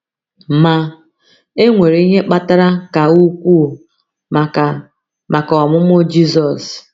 Ma, e nwere ihe kpatara ka ukwuu maka maka ọmụmụ Jizọs.